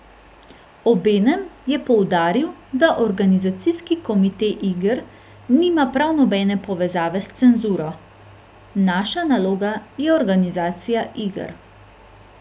Obenem je poudaril, da organizacijski komite iger nima prav nobene povezave s cenzuro: 'Naša naloga je organizacija iger.